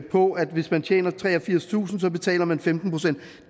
på at hvis men tjener treogfirstusind kr så betaler man femten procent